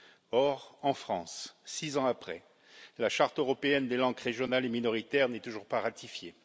Or, en France, six ans après, la charte européenne des langues régionales et minoritaires n'est toujours pas ratifiée.